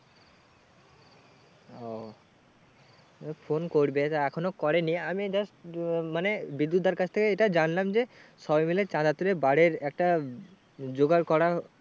ও phone করবে তা এখনো করেনি আমি দেখ আহ মানে বিদ্যুৎ দার কাছ থেকে এটা জানলাম যে সবাই মিলে চাঁদা তুলে bar এর একটা জোগাড় করার